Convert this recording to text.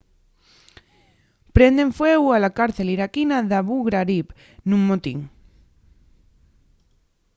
prenden fueu a la cárcel iraquina d'abu ghraib nun motín